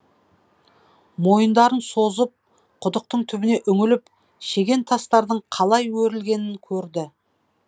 мойындарын созып құдықтың түбіне үңіліп шеген тастардың қалай өрілгенін көрді